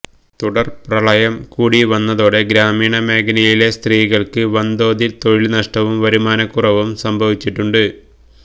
തുടര്പ്രളയം കൂടി വന്നതോടെ ഗ്രാമീണമേഖലയിലെ സ്ത്രീകള്ക്ക് വന്തോതില് തൊഴില്നഷ്ടവും വരുമാനക്കുറവും സംഭവിച്ചിട്ടുണ്ട്